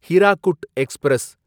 Hirakud express